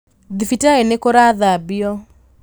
Thibitarĩ nĩ kũrathanbio